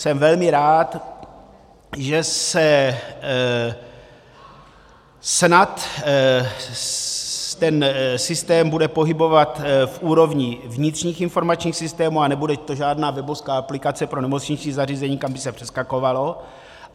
Jsem velmi rád, že se snad ten systém bude pohybovat v úrovni vnitřních informačních systémů a nebude to žádná webovská aplikace pro nemocniční zařízení, kam by se přeskakovalo.